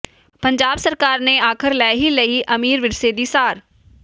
ਪੰਜਾਬ ਸਰਕਾਰ ਨੇ ਆਖ਼ਰ ਲੈ ਹੀ ਲਈ ਅਮੀਰ ਵਿਰਸੇ ਦੀ ਸਾਰ